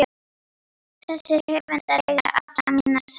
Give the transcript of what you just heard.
Þessir höfundar eiga alla mína samúð.